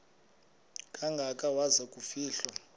kangaka waza kufihlwa